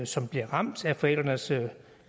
som bliver ramt af forældrenes